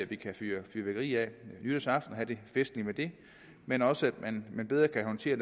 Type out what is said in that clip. vi kan fyre fyrværkeri af nytårsaften og have det festligt med det men også at man bedre kan håndtere